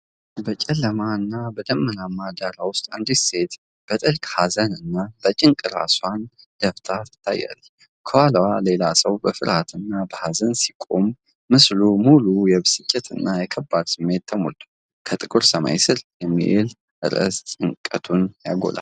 በጨለማና በደመናማ ዳራ ውስጥ አንዲት ሴት በጥልቅ ሀዘንና በጭንቀት ራሷን ደፍታ ትታያለች። ከኋላዋ ሌላ ሰው በፍርሃትና በኀዘን ሲቆም፤ ምስሉ በሙሉ የብስጭትና የከባድ ስሜት ተሞልቷል። "ከጥቁር ሰማይ ስር" የሚለው ርዕስ ጭንቀቱን ያጎላል።